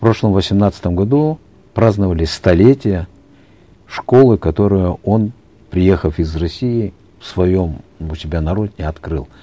в прошлом восемнадцатом году праздновали столетие школы которую он приехав из россии в своем у себя на родине открыл